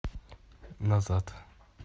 назад